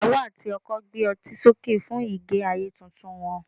iyawo ati oko gbé otí soke fún ige ayé Titun wan